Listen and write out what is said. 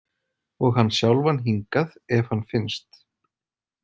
Og hann sjálfan hingað ef hann finnst.